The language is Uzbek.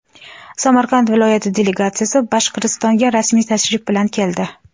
Samarqand viloyati delegatsiyasi Boshqirdistonga rasmiy tashrif bilan keldi.